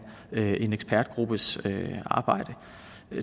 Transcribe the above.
en ekspertgruppes arbejde